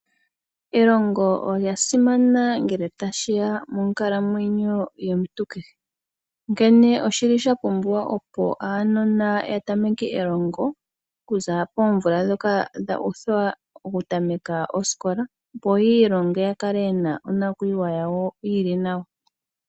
Elongo olya simana ngele tashya monkalamwenyo yomuntu kehe. Onkene oshi li sha pumbiwa opo aanona ya tameke elongo, okuza poomvula dhoka dha uthwa oku tameka osikola. Opo yi ilonge ya kale yena onakuyiwa yawo yi li nawa.